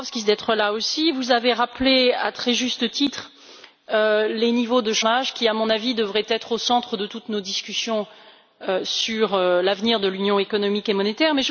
Dombrovskis d'être là aussi. Vous avez rappelé à très juste titre les niveaux de chômage, qui à mon avis, devraient être au centre de toutes nos discussions sur l'avenir de l'Union économique et monétaire.